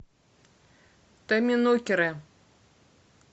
томминокеры